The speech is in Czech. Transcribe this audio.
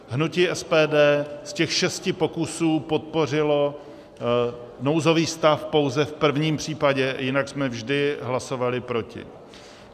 Hnutí SPD z těch šesti pokusů podpořilo nouzový stav pouze v prvním případě, jinak jsme vždy hlasovali proti.